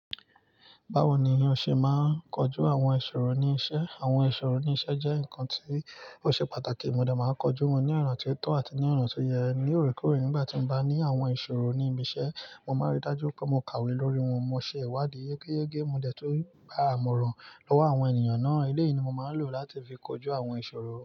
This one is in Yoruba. Báwo ni o ṣe máa ń kojú àwọn ìṣòro ní iṣẹ́? Àwọn ìṣòro ní iṣẹ́ jẹ́ nǹkan tí ó ṣe pàtàkì. Mo de máa ń kojú wọn ní ọ̀na tó tọ́ àti ní ọ̀na tó yẹ. Ní òrekore, nígbà tí mo bá ní àwọn ìṣòro ní ibi iṣẹ́, mo máa rí dájú pé mo kàwé lórí wọn. Mo ṣe ìwádìí yégéyégé. Mo de tun gbá imọ̀ràn lọ́wọ́ àwọn ènìyàn náà. Eléyìí ni mo máa ń lò láti fi kojú àwọn ìṣòro.